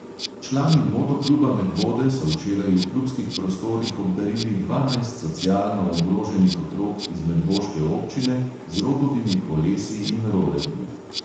Člani motokluba medvode so včeraj v klubskih prostorih obdarili dvanajst socialno ogroženih otrok iz medvoške občine z rogovimi kolesi in rolerji.